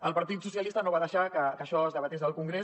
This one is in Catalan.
el partit socialista no va deixar que això es debatés al congrés